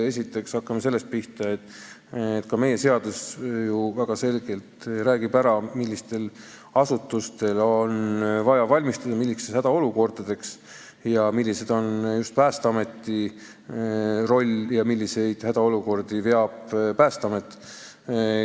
Esiteks, hakkame sellest pihta, et ka meie seadus räägib väga selgelt ära, millistel asutustel on vaja millisteks hädaolukordadeks valmistuda ja milline on just Päästeameti roll, milliseid hädaolukordi nemad lahendavad.